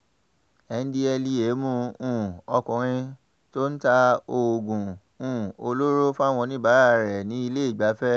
ndtea mú um ọkùnrin tó tó ń ta oògùn um olóró fáwọn oníbàárà rẹ̀ nílé ìgbafẹ́